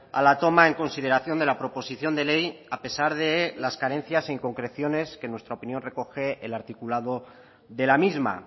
a la toma en consideración de la proposición de ley a pesar de las carencias e inconcreciones que en nuestra opinión recoge el articulado de la misma